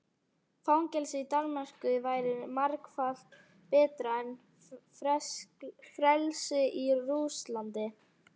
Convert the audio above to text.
Fangelsi í Danmörku væri margfalt betra en frelsi í Rússlandi.